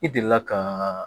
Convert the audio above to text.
I delila ka